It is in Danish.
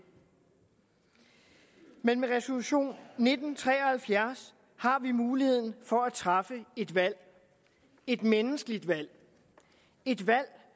men med resolution nitten tre og halvfjerds har vi muligheden for at træffe et valg et menneskeligt valg et valg